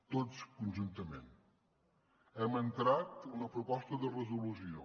tots conjuntament hem entrat una proposta de resolució